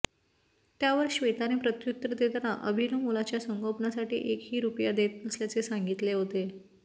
त्यावर श्वेताने प्रत्युत्तर देताना अभिनव मुलाच्या संगोपनासाठी एकही रुपया देत नसल्याचे सांगितले होते